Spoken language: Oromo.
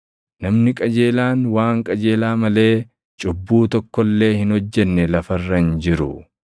Namni qajeelaan waan qajeelaa malee cubbuu tokko illee hin hojjenne lafa irra hin jiru.